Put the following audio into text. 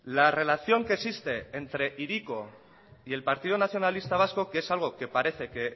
la relación que existe entre hiriko y el partido nacionalista vasco que es algo que parece que